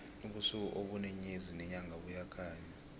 ubusuku ubune nyezi nenyanga buyakhanya